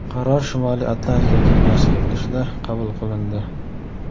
Qaror Shimoliy Atlantika kengashi yig‘ilishida qabul qilindi.